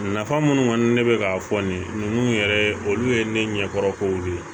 Nafa minnu kɔni ne bɛ k'a fɔ nin ninnu yɛrɛ ye olu ye ne ɲɛkɔrɔ k'o ye